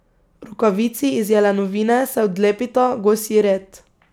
Rokavici iz jelenovine se odlepita, gosji red.